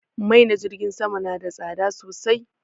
Mai na jirgin sama na da tsada sosai